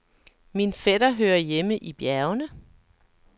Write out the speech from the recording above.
Min fætter hører hjemme i bjergene.